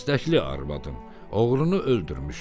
İstəkli arvadım, oğrunu öldürmüşəm.